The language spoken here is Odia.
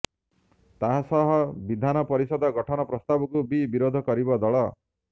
ତାହା ସହ ବିଧାନ ପରିଷଦ ଗଠନ ପ୍ରସ୍ତାବକୁ ବି ବିରୋଧ କରିବ ଦଳ